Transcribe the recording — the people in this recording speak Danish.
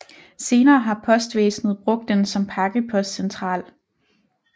Senere har Postvæsenet brugt den som pakkepostcentral